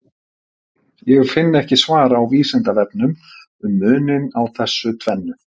Ég finn ekki svar á Vísindavefnum um muninn á þessu tvennu.